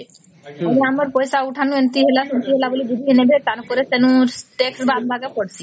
ଆମର ପଇସା ଉଥଲାଉ ଏମିତି ହେଲା ସେମିତି ହେଲା ବୋଲି ଛୁଟି ନେବେ ପାନ କରେ ତେଣୁ state bank ଏଠି ପଡିଛି